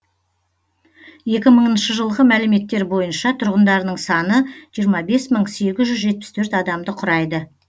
екі мыңыншы жылғы мәліметтер бойынша тұрғындарының саны жиырма бес мың сегіз жүз жетпіс төрт адамды құрайды